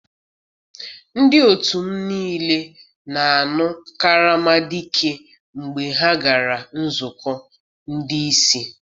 Ndị otu m niile na-aṅụ karama dike mgbe ha gara nzukọ ndị isi.